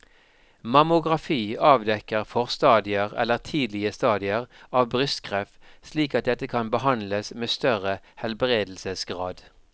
Mammografi avdekker forstadier eller tidlige stadier av brystkreft slik at dette kan behandles med større helbredelsesgrad.